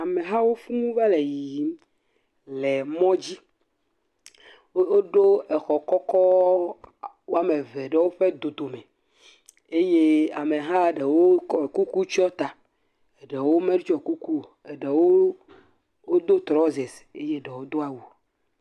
Amehawo fuu va le yiyim le mɔ dzi. Wo ɖo exɔ kɔkɔ woame eve ɖe woƒe dodome eye ameha ɖewo kɔ kuku tsɔ ta. Eɖewo metsɔ kuku o, eɖewo wodo trɔsasi eye eɖewo do awu.